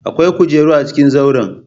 Akwai kujeru a cikin zauren.